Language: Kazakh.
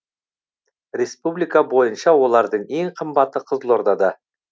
республика бойынша олардың ең қымбаты қызылордада